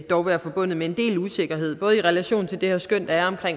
dog være forbundet med en vis usikkerhed både i relation til det her skøn der er